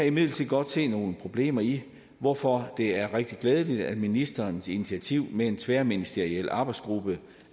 imidlertid godt se nogle problemer i hvorfor det er rigtig glædeligt at ministerens initiativ med en tværministeriel arbejdsgruppe